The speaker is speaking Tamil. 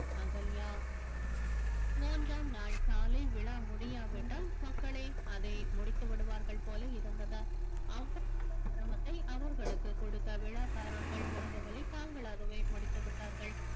அகல்யா மூன்றாம் நாள் காலை விழா முடியாவிட்டால் மக்களே அதை முடித்துவிடுவார்கள் போல இருந்தது அவர்களுக்கு கொடுத்த விழாக்காரர்கள் விரும்பவில்லை தாங்களாகவே முடித்து விட்டார்கள்